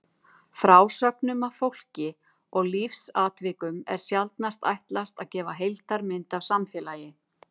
Frásögnum af fólki og lífsatvikum er sjaldnast ætlað að gefa heildarmynd af samfélagi.